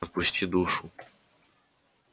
отпусти душу